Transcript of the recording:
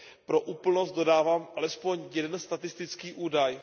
Pro úplnost dodávám alespoň jeden statistický údaj.